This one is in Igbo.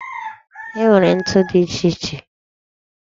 E nwere ntu dị iche iche